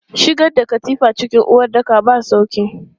Shigar da katifa cikin uwaɗɗaka ba sauƙi.